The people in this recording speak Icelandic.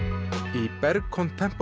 í Berg